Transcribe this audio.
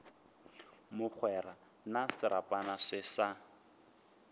mogwera na serapana se sa